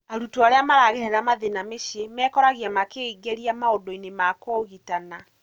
arutwo aria maragerera mathĩna mĩciĩ mekoragia makĩingĩria maũndũinĩ ma kũũgitana.